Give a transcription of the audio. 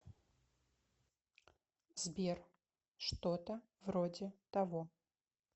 сбер что то вроде того